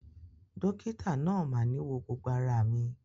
Dokita naa máa ni wọ gbogbo ara mi.